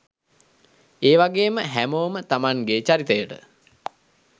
ඒවගේම හැමෝම තමන්ගෙ චරිතයට